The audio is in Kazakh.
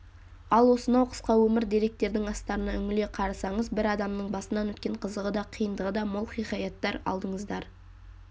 ал осынау қысқа өмір деректердің астарына үңіле қарасаңыз бір адамның басынан өткен қызығы да қиындығы да мол хикаяттар алдыңыздар